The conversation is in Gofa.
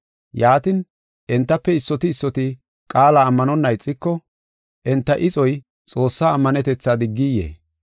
Yaatin, entafe issoti issoti qaala ammanonna ixiko, enta ixoy Xoossaa ammanetetha diggiyee?